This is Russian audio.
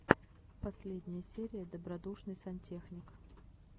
последняя серия добродушный сантехник